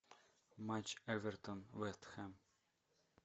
матч эвертон вест хэм